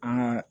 An